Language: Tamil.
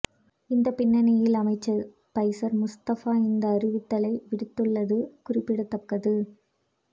இந்த பின்னணியில் அமைச்சர் பைசர் முஸ்தப்பா இந்த அறிவித்தலை விடுத்துள்ளது குறிப்பிடத்தக்கது